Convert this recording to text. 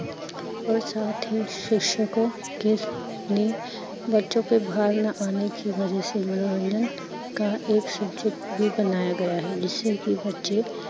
ਓਰ ਸੱਠ ਹੀਂ ਸਿਹਕਸ਼ਕੋਂ ਕੇ ਨੀਂਹ ਬਚੋ ਕੀ ਬਵਾਨਾ ਆਨੇ ਸੇ ਮਨੋਰੰਜਨ ਕਾ ਏਕ subject ਬੀ ਬਣਾਯਾ ਗਿਆ ਹੈ ਜਿਸਸਏ ਕੀ ਬਚੇ